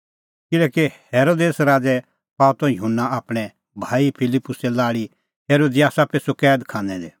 किल्हैकि हेरोदेस राज़ै पाअ त युहन्ना आपणैं भाई फिलिप्पुसे लाल़ी हेरोदियासा पिछ़ू कैद खानै दी